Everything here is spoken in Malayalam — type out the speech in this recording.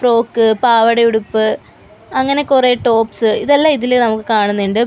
ഫ്രോക്ക് പാവട ഉടുപ്പ് അങ്ങനെ കുറെ ടോപ്സ് ഇതെല്ലാം ഇതില് നമുക്ക് കാണുന്നുണ്ട് പി--